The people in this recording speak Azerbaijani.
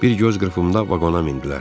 Bir göz qırpımında vaqona mindilər.